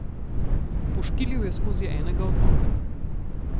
Poškilil je skozi enega od oken.